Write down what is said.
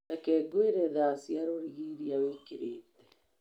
Reke ngwĩre thaa cia rũrigi iria wĩkĩrĩte.